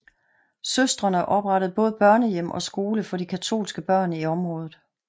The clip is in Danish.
Søstrene oprettede både børnehjem og skole for de katolske børn i området